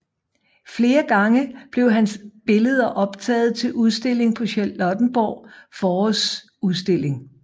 Flere gange blev hans billeder optaget til udstilling på Charlottenborg Forårsudstilling